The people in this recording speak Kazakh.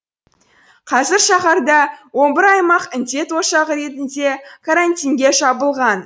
қазір шаһарда он бір аймақ індет ошағы ретінде карантинге жабылған